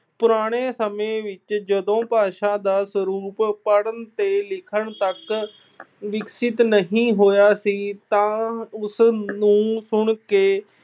ਪੁਰਾਣੇ ਸਮੇਂ ਵਿੱਚ ਜਦੋਂ ਭਾਸ਼ਾ ਦਾ ਸਰੂਪ ਪੜ੍ਹਨ ਤੇ ਲਿਖਣ ਤੱਕ ਵਿਕਸਿਤ ਨਹੀਂ ਹੋਇਆ ਸੀ ਤਾਂ ਉਸ ਨੂੰ ਸੁਣ ਕੇ